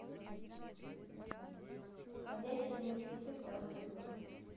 ходячие мертвецы второй эпизод